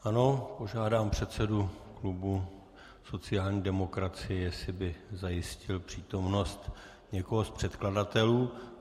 Ano, požádám předsedu klubu sociální demokracie, jestli by zajistil přítomnost někoho z předkladatelů.